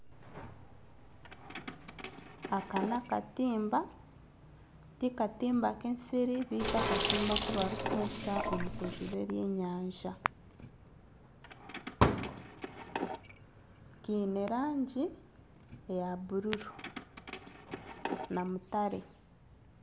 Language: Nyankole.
Aka n'akatimba ti katimba nk'ensiri beitu akatimba aku barikukoresa omu kujuba ebyenyanja kiine rangi eya bururu na mutare.